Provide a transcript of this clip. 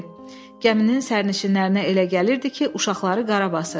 Gəminin sərnişinlərinə elə gəlirdi ki, uşaqları qarabasır.